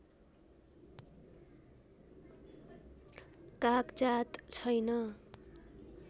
कागजात छैन